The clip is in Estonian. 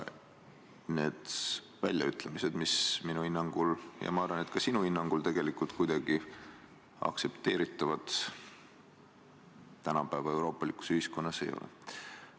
Need Reitelmanni väljaütlemised minu hinnangul – ja ma arvan, et ka sinu hinnangul – tegelikult tänapäeva euroopalikus ühiskonnas kuidagi aktsepteeritavad ei ole.